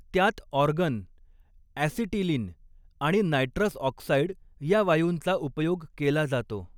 त्यात argon, acetylene आणि nitrous oxide या वायूंचा उपयोग केला जातो.